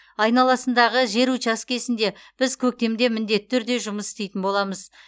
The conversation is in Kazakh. айналасындағы жер учаскесінде біз көктемде міндетті түрде жұмыс істейтін боламыз